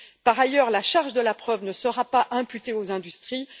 Par ailleurs, la charge de la preuve ne sera pas imputée aux industries.